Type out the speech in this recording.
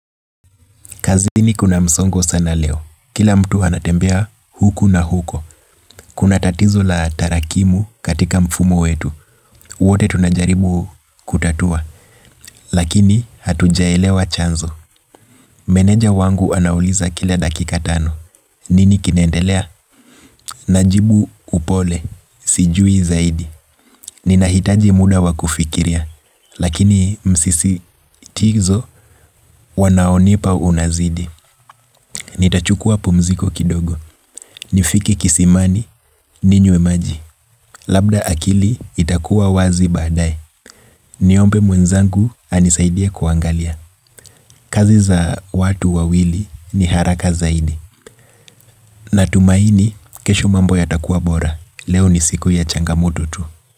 Kazini kuna msongo sana leo, kila mtu anatembea huku na huko, kuna tatizo la tarakimu katika mfumo wetu, wote tunajaribu kutatua, lakini hatujaelewa chanzo. Meneja wangu anauliza kila dakikatano, nini kinendelea? Najibu upole, sijui zaidi, ninahitaji muda wakufikiria, lakini msisitizo wanaonipa unazidi. Ni tachukua pumziko kidogo. Ni fiki kisimani ninywe maji. Labda akili itakuwa wazi badae. Niombe mwenzangu anisaidia kuangalia. Kazi za watu wawili ni haraka zaidi. Na tumaini kesho mambo ya takuwa bora. Leo ni siku ya changamoto tu.